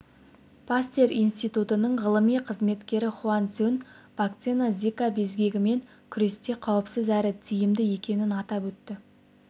пастер институтының ғылыми қызметкері хуан чжун вакцина зика безгегімен күресте қауіпсіз әрі тиімді екенін атап өтті